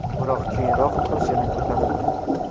Biroq keyinroq kurs yana ko‘tarildi.